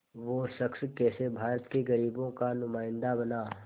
वो शख़्स कैसे भारत के ग़रीबों का नुमाइंदा बना